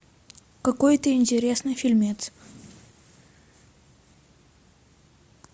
какой то интересный фильмец